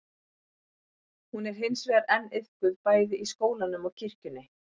Hún er hins vegar enn iðkuð bæði í skólanum og kirkjunni.